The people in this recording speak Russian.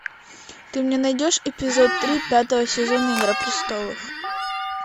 ты мне найдешь эпизод три пятого сезона игра престолов